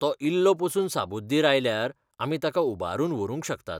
तो इल्लो पसून साबुद्दीर आयल्यार, आमी ताका उबारून व्हरूंक शकतात.